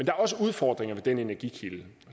er også udfordringer ved den energikilde